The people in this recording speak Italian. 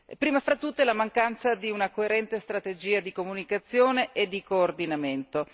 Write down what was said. prima fra tutte la mancanza di una coerente strategia di comunicazione e di coordinamento.